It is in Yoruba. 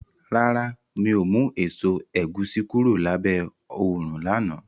Rárá, mi ò mú èso ẹ̀gúsí kúrò lábẹ́ òrùn náà